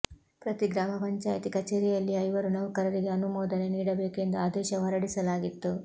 ಪ್ರತಿ ಗ್ರಾಮ ಪಂಚಾಯಿತಿ ಕಚೇರಿಯಲ್ಲಿ ಐವರು ನೌಕರರಿಗೆ ಆನುಮೋದನೆ ನೀಡಬೇಕು ಎಂದು ಆದೇಶ ಹೊರಡಿಸಲಾಗಿತ್ತು